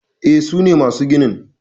E, sune masu ginin